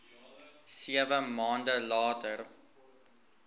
sewe maande later